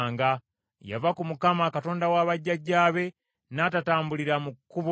Yava ku Mukama , Katonda wa bajjajjaabe, n’atatambulira mu kkubo lya Mukama .